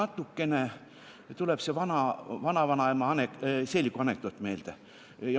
Mulle tuleb see vanavanaema seeliku anekdoot meelde.